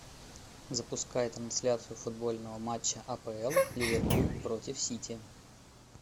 запускай трансляцию футбольного матча апл ливерпуль против сити